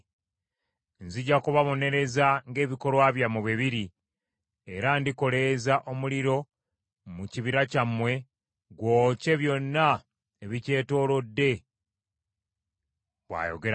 Nzija kubabonereza ng’ebikolwa byammwe bwe biri, era ndikoleeza omuliro mu kibira kyammwe, gwokye byonna ebikyetoolodde,’ ” bw’ayogera Mukama .